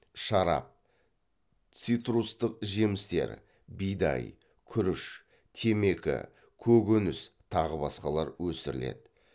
шарап цитрустік жемістер бидай күріш темекі көкөніс тағы басқалар өсіріледі